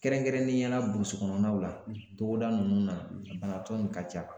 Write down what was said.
Kɛrɛnkɛrɛnnenya la burusikɔnɔnaw la togoda ninnu na a banabagatɔ in ka ca